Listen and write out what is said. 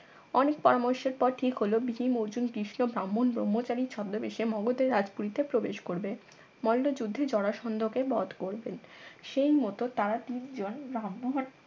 অনেক পরামর্শ পর ঠিক হল ভীম অর্জুন কৃষ্ণ ব্রাহ্মণ ব্রহ্মচারীর ছদ্মবেশে মগধের রাজপুরীতে প্রবেশ করবে মল্ল যুদ্ধে জরাসন্ধ কে বধ করবেন সেই মত তারা তিনজন ব্রাহ্মণ